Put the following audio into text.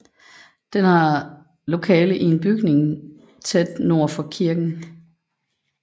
Den havde lokale i en bygning tæt nord for kirken